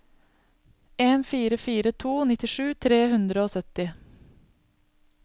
en fire fire to nittisju tre hundre og sytti